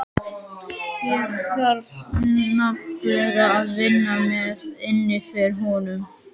Ég þarf nefnilega að vinna mér inn fyrir honum.